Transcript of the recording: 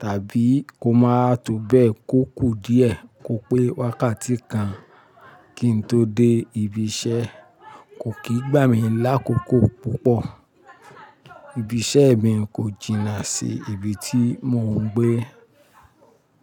tàbí kó máa tó bẹ́ẹ̀ kò kú díẹ̀ kó pé wákàtí kan kí n tó dé ibi iṣẹ́. Kò kì í gbà mí lákòókò púpọ̀. Ibi iṣẹ́ mi kò jìnnà sí ibi tí mò ń gbé.